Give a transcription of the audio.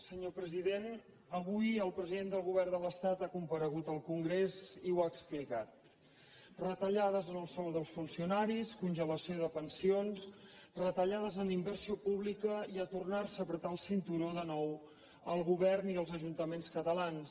senyor president avui el president del govern de l’estat ha comparegut al congrés i ho ha explicat retallades en el sou dels funcionaris congelació de pensions retallades en inversió pública i a tornar se a estrènyer el cinturó de nou el govern i els ajuntaments catalans